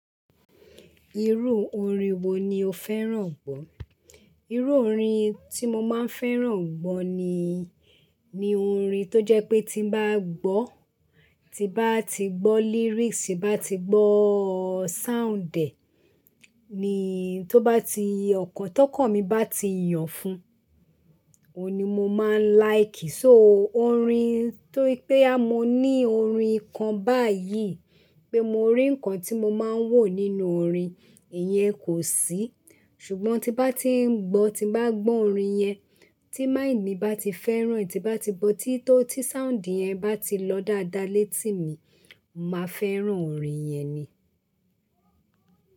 Irú orin wo ni o fẹ́ràn gbọ́? Irú orin tí mo máa ń fẹ́ràn gbọ́ ni, ni orin tó jẹ́ pé tí n bá gbọ́, tí bá ti gbọ́ lyrics, tí n bá ti gbọ́ sound ẹ, ni tó bá ti ọkàn tọkàn mi bá ti yàn fún, òun ni mo máa ń like. So orin tó pé bóyá mo ní orin kan báyìí pé mo rí ǹkan tí mo máa ń wò nínú orin, ìyẹn kò sí. Ṣùgbọ́n tí bá ti ń gbọ́, tí bá gbọ́ orin yẹn, tí mind mi bá ti fẹ́ràn ẹ, tí n bá ti gbọ́ tí tó tí sound yẹn bá ti lọ dáadáa létí mi, màá fẹ́ràn orin yẹn ni.